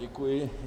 Děkuji.